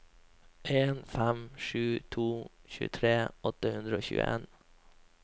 en fem sju to tjuetre åtte hundre og tjueen